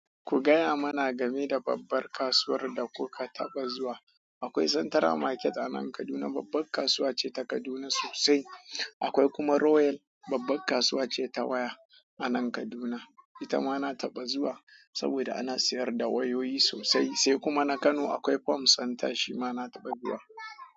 Ku gaya mana game da babbar kasuwar da kuka taɓa zuwa. Akwai Central Market a nan Kaduna, babbar kasuwa ce ta Kaduna sosai. Akwai kuma Royal, babbar kasuwa ce ta waya a nan Kaduna. Ita ma na taɓa zuwa saboda ana sayar da wayoyi sosai. Sai kuma na Kano akwai Phone Center, shi ma na taɓa zuwa.